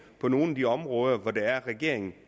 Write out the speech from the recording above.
på nogle af de områder hvor det er at regeringen